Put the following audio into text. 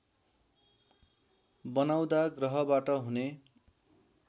बनाउँदा ग्रहबाट हुने